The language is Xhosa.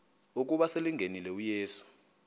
ukuba selengenile uyesu